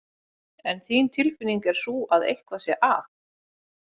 En þín tilfinning er sú að eitthvað sé að?